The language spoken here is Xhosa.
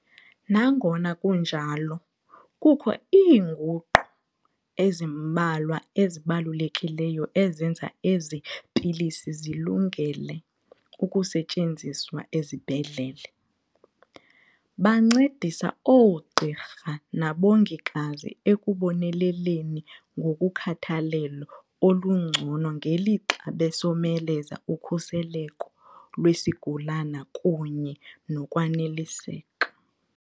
Nangona kunjalo, kukho iinguqu ezimbalwa ezibalulekileyo ezenza ezi pilisi zilungele ukusetyenziswa ezibhedlele. Bancedisa oogqirha nabongikazi ekuboneleleni ngokukhathalelo olungcono ngelixa besomeleza ukhuseleko lwesigulana kunye nokwaneliseka.